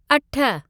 अठ